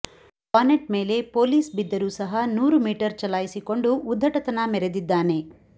bonnet ಮೇಲೆ police ಬಿದ್ದರೂ ಸಹ ನೂರು ಮೀಟರ್ ಚಲಾಯಿಸಿಕೊಂಡು ಉದ್ಧಟತನ ಮೆರೆದಿದ್ದಾನೆ